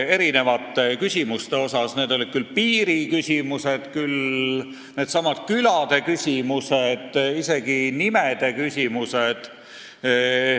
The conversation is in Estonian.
Me tõstsime üles piiride küsimusi, külade küsimusi, isegi nimede küsimusi.